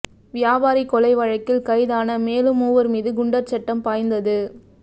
வியாபாரி கொலை வழக்கில் கைதான மேலும் மூவா் மீது குண்டா் சட்டம் பாய்ந்தது